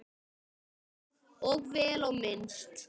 Já, og vel á minnst.